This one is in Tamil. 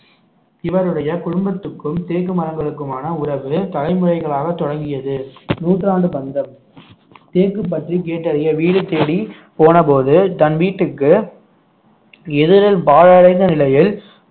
இவருடைய குடும்பத்துக்கும் தேக்கு மரங்களுக்குமான உறவு தலைமுறைகளாக தொடங்கியது நூற்றாண்டு பந்தம் தேக்கு பற்றி கேட்டறிய வீடு தேடி போனபோது தன் வீட்டுக்கு எதிரில் பாழடைந்த நிலையில்